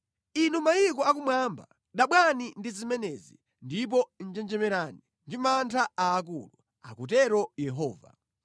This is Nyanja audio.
Inu mayiko akumwamba, dabwani ndi zimenezi, ndipo njenjemerani ndi mantha aakulu,” akutero Yehova.